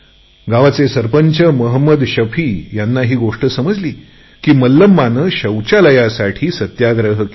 गाव प्रमुख मोहम्मद शफींना ही गोष्ट समजली की मल्लमाने शौचालयासाठी सत्याग्रह केला